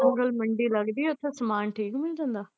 ਉਹ ਗੱਲ ਮੰਡੀ ਲੱਗਦੀ ਉੱਥੇ ਸਮਾਨ ਠੀਕ ਮਿਲ ਜਾਂਦਾ?